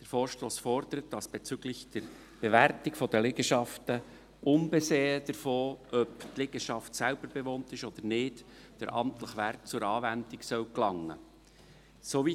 Der Vorstoss fordert, dass bezüglich Bewertung der Liegenschaften, unbesehen davon, ob die Liegenschaft selbstbewohnt wird oder nicht, der amtliche Wert zur Anwendung gelangen soll.